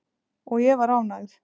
Og ég var ánægð.